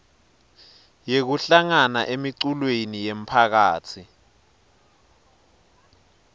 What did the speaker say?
yekuhlangana emiculweni yemphakatsi